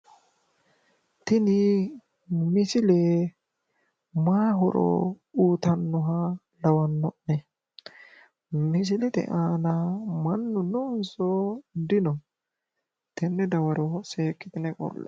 Tini misile mayi horo uyitannoha lawanno'ne? Misilete aana mannu noonso dino? Tenne dawarono seekkitine qolle"e.